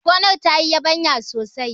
gonar ta yi yabanya sosai!